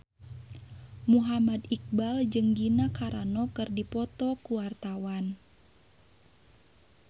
Muhammad Iqbal jeung Gina Carano keur dipoto ku wartawan